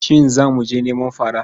Shin za mu je neman fara?